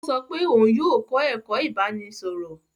O sọ pe òun yóò kọ ẹkọ ibaraẹnisọrọ.